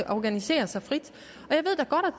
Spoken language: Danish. organisere sig frit